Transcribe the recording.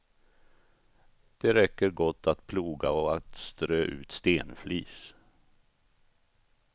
Det räcker gott att ploga och att strö ut stenflis.